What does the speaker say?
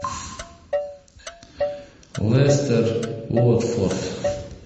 лестер уотфорд